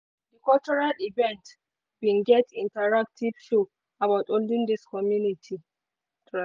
cultural event event bin get interactive show about olden days community.